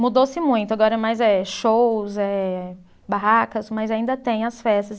Mudou-se muito, agora mais é shows, eh barracas, mas ainda tem as festas.